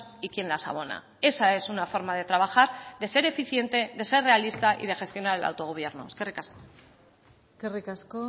y quién las abona esa es una forma de trabajar de ser eficiente de ser realista y de gestionar el autogobierno eskerrik asko eskerrik asko